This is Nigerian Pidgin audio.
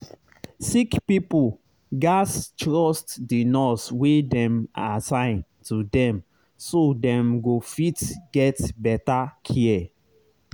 sick pipo gats trust the nurse wey dem assign to dem so dem go fit get better care